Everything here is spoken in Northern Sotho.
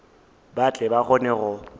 ba tle ba kgone go